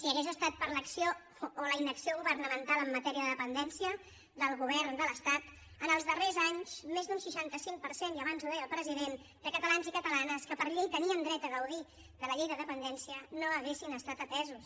si hagués estat per l’acció o la inacció governamental en matèria de dependència del govern de l’estat en els darrers anys més d’un seixanta cinc per cent i abans ho deia el president de catalans i catalanes que per llei tenien dret a gaudir de la llei de dependència no haguessin estat atesos